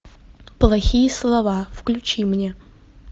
плохие слова включи мне